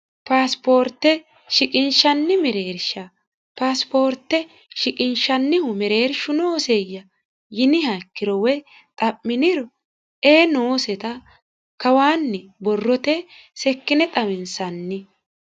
Pasport shiqinshanni mereersha ,Pasport shiqinshannihu mereershu nooseya yiniha ikkiro woyi xa'miniro ee noosetta kawanni borrote seekkine xawinsanni.